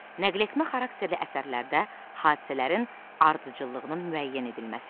Nəqletmə xarakterli əsərlərdə hadisələrin ardıcıllığının müəyyən edilməsi.